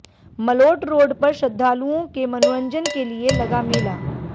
Malout road पर श्रद्धालुओं के मनोरंजन के लिए लगा मेला